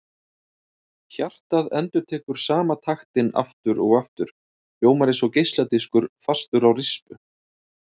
Hjartað endurtekur sama taktinn aftur og aftur, hljómar eins og geisladiskur fastur á rispu.